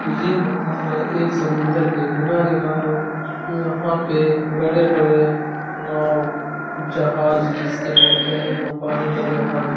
ये नज़ारा एक समुन्द्र के किनारे का है। यहाँ पे बड़े-बड़े नाव जहाज जिसे बोलते है हम पानी का जहाज --